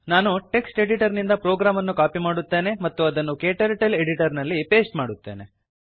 ನಾನು text editor ನಿಂದ program ಅನ್ನು ಕಾಪಿ ಮಾಡುತ್ತೇನೆ ಮತ್ತು ಅದನ್ನು ಕ್ಟರ್ಟಲ್ Editorನಲ್ಲಿ ಪೇಸ್ಟ್ ಮಾಡುತ್ತೇನೆ